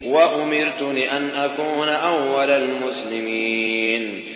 وَأُمِرْتُ لِأَنْ أَكُونَ أَوَّلَ الْمُسْلِمِينَ